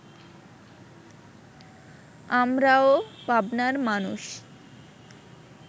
আমরাও পাবনার মানুষ